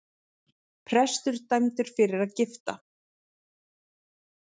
Prestur dæmdur fyrir að gifta